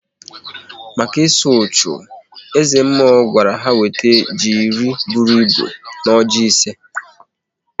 Maka ịsụ uchu, eze mmụọ gwara ha wete ji iri bụrụ ịbụ na ọjị ise